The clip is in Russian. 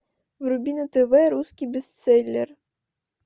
вруби на тв русский бестселлер